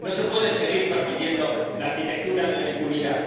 No se puede seguir permitiendo la arquitectura de la impunidad.